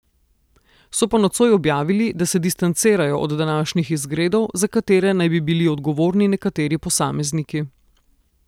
So pa nocoj objavili, da se distancirajo od današnjih izgredov, za katere naj bi bili odgovorni nekateri posamezniki.